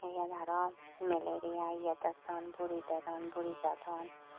eyan aro malaria ye detdon buri dedon buri sadon.